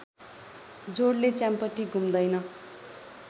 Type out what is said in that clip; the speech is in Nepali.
जोडले च्याम्पटी घुम्दैन